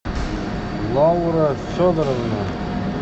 лаура федоровна